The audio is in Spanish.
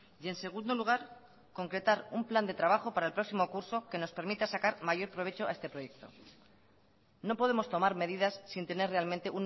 y en segundo lugar concretar un plan de trabajo para el próximo curso que nos permita sacar mayor provecho a este proyecto no podemos tomar medidas sin tener realmente